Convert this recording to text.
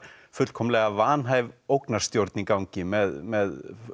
fullkomlega vanhæf ógnarstjórn í gangi með með